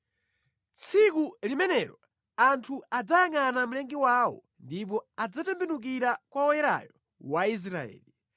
Tsiku limenelo anthu adzayangʼana Mlengi wawo ndipo adzatembenukira kwa Woyerayo wa Israeli.